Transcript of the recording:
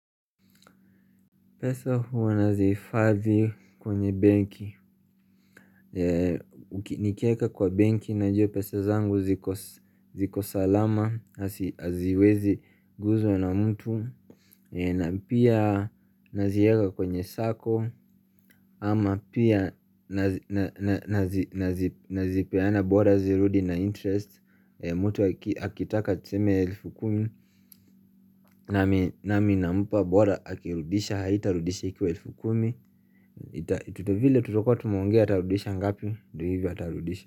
Pesa hua nazi hifadhikwenye benki uki Nikieka kwa benki najua pesa zangu zikos zikosalama, azi haziwezi guzwa na mtu na pia nazieka kwenye sako ama pia nazi nana nazi nazi nazipeana bora zirudi na interest mtu aki akitaka tuseme elfu kumi nami nami nampa bora akirudisha haitarudisha ikiwa elfu kumi ita tuvile tutakua tumeongea atarudisha ngapi ndo hivo atarudisha.